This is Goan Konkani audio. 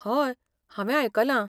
हय, हांवें आयकलां.